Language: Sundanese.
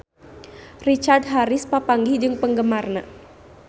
Richard Harris papanggih jeung penggemarna